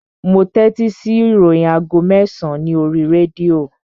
Mo tẹ́tí sí ìròyìn aago mẹ́sàn-án ní oríi rédíò